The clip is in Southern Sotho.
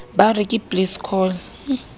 ba re ke please call